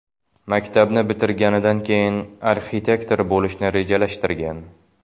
Maktabni bitirganidan keyin arxitektor bo‘lishni rejalashtirgan.